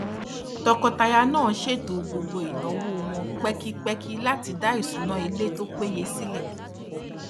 tọkọtaya náà ṣètò gbogbo ináwó wọn pẹkipẹki láti dá isunawo ilé tó péye sílẹ